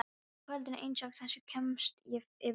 Á kvöldi einsog þessu kemst ég yfir þrjár.